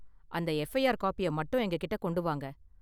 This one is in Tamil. அந்த எஃப்ஐஆர் காப்பிய மட்டும் எங்க கிட்ட கொண்டு வாங்க.